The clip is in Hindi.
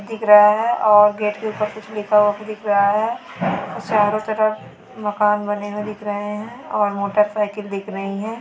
दिख रहा हैऔर गेट के ऊपर कुछ लिखा हुआ फिर दिख रहा है उसे चारों तरफ मकान बनी दिख रहे हैंऔर मोटरसाइकिल दिख रही है।